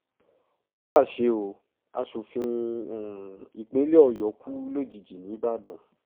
ó mà ṣe o aṣòfin um ìpínlẹ̀ ọ̀yọ́ kù lójijì nìbàdàn